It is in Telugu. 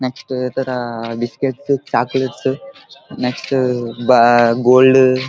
నెక్స్ట్ ఇతర biscuit chocolate next ah ah gold --